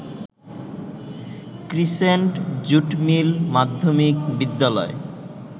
crescent jute mill মাধ্যমিক বিদ্যালয়